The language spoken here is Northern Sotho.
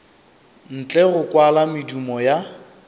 ntle go kwala medumo ya